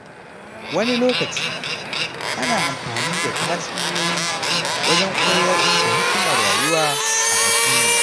Wani lokaci, ana amfani da tatsuniyoyi wajen koyar da hikimar rayuwa a addini.